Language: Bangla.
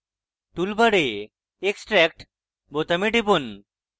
টুলবারে extract বোতামে টিপুন